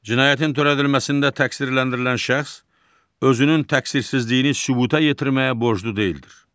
Cinayətin törədilməsində təqsirləndirilən şəxs özünün təqsirsizliyini sübuta yetirməyə borclu deyildir.